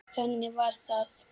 Þannig var það.